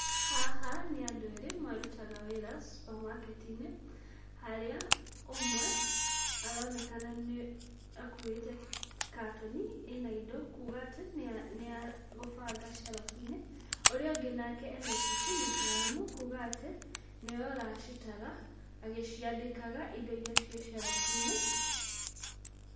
Haha nĩ andũ erĩ marutaga wĩra supermarket -inĩ. Harĩa ũmwe aronekana nĩ akuĩte katoni ĩna indo, kuga atĩ nĩagũbanga shelf -inĩ. Ũrĩa ũngĩ ena ibuku na karamu, kuga atĩ nĩwe ũracitara agĩciandĩkaga indo iria irĩ ciĩ shelf -inĩ.